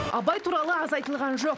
абай туралы аз айтылған жоқ